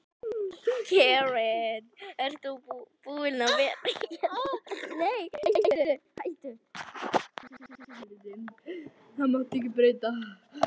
Karen: Ert þú búin að vera eitthvað hrædd við það?